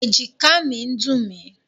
Èjìká mi ń dùn mí.